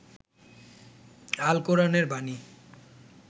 আল কোরআনের বানী